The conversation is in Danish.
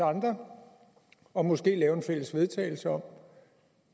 andre og måske lave et fælles vedtagelse om